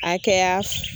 Akɛya